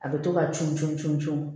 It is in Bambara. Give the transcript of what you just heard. A bɛ to ka cun cun cun cun